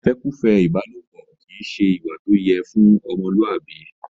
ìfẹ́kùfẹ́ ìbálòpọ kìí ṣe ìwà tó yẹ ọmọlúwàbí.